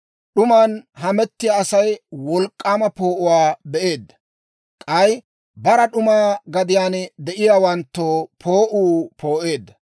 D'uman hametiyaa Asay wolk'k'aama poo'uwaa be'eedda; k'ay bara d'uma gadiyaan de'iyaawanttoo poo'uu poo'eedda.